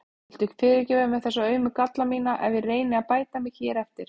Viltu fyrirgefa mér þessa aumu galla mína ef ég reyni að bæta mig hér eftir?